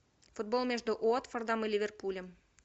футбол между уотфордом и ливерпулем